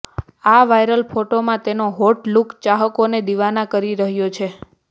આ વાયરલ ફોટામાં તેનો હોટ લૂક ચાહકોને દિવાના કરી રહ્યો છે